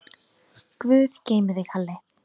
Guð geymi þig, Halli.